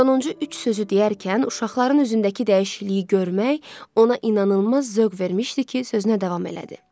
Sonuncu üç sözü deyərkən uşaqların üzündəki dəyişikliyi görmək ona inanılmaz zövq vermişdi ki, sözünə davam elədi.